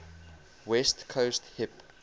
west coast hip